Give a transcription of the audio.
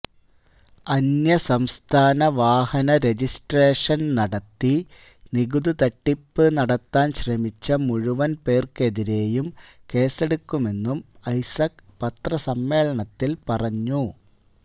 അന്യസംസ്ഥാന വാഹന രജിസ്ട്രേഷന് നടത്തി നികുതി തട്ടിപ്പ് നടത്താന് ശ്രമിച്ച മുഴുവന് പേര്ക്കെതിരെയും കേസെടുക്കുമെന്നും ഐസക് പത്രസമ്മേളനത്തില് പറഞ്ഞു